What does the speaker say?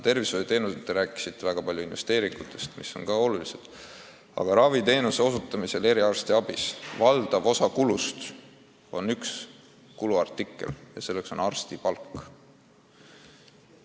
Tervishoius – te rääkisite väga palju investeeringutest, mis on ka olulised, aga eriarstiabis moodustab valdava osa kulust arstide palk.